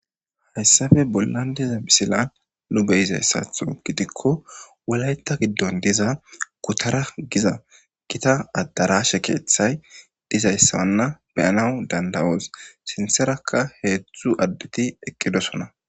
hayssape bollan diza missilan lube izayssatho gidikko wulayta giddon diza gutara giza gita addarashe keeththay dizayssawanna beyanawu dandawoos sinserakka heetzthu additi eqqidosona.